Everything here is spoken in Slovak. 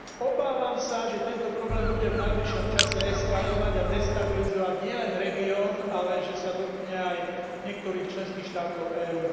Obávam sa, že tento problém bude v najbližšom čase eskalovať a destabilizovať nielen región, ale že sa dotkne aj niektorých členských štátov EÚ.